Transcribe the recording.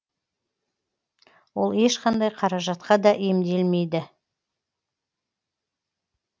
ол ешқандай қаражатқа да емделмейді